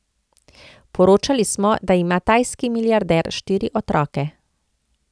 Poročali smo, da ima tajski milijarder štiri otroke.